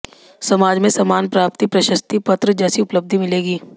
समाज में सम्मान प्राप्ति या प्रशस्ति पत्र जैसी उपलब्धि मिलेगी